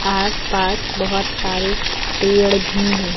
आसपास बहुत सारे पेड़ भी है।